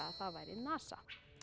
hafi verið NASA